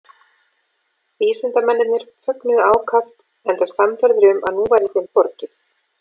vísindamennirnir fögnuðu ákaft enda sannfærðir um að nú væri þeim borgið